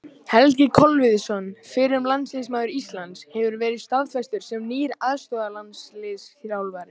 Helgi Kolviðsson, fyrrum landsliðsmaður Íslands, hefur verið staðfestur sem nýr aðstoðarlandsliðsþjálfari.